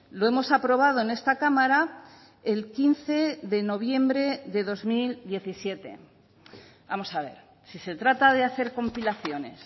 lo hemos aprobado en esta cámara el quince de noviembre de dos mil diecisiete vamos a ver si se trata de hacer compilaciones